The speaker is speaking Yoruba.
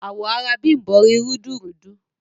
Awọ̀ arà Bímbọ̀ rí rúdùrúdú.